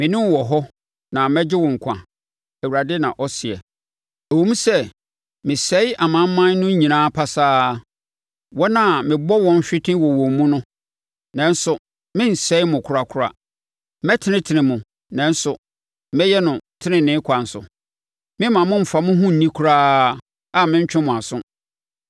Me ne wo wɔ hɔ na mɛgye wo nkwa,’ Awurade na ɔseɛ. ‘Ɛwom sɛ mesɛe amanaman no nyinaa pasaa, wɔn a mebɔ mo hwete wɔ wɔn mu no, nanso merensɛe mo korakora. Mɛtenetene mo nanso mɛyɛ no tenenee ɛkwan so; meremma mo mfa mo ho nni koraa a merentwe mo aso.’